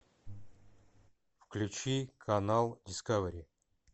включи канал дискавери